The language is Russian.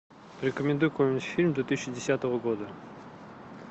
порекомендуй какой нибудь фильм две тысячи десятого года